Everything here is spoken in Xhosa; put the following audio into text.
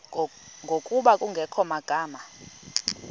ngokuba kungekho magama